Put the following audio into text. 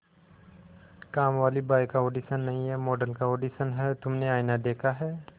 कामवाली बाई का ऑडिशन नहीं है मॉडल का ऑडिशन है तुमने आईना देखा है